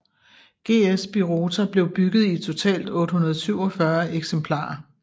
GS Birotor blev bygget i totalt 847 eksemplarer